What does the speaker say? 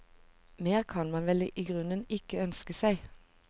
Mer kan man vel i grunnen ikke ønske seg.